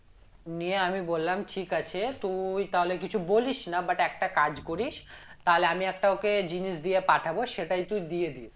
নিয়ে আমি বললাম ঠিক আছে তুই তাহলে কিছু বলিস না but একটা কাজ করিস তালে আমি একটা ওকে জিনিস দিয়ে পাঠাবো সেটাই তুই দিয়ে দিস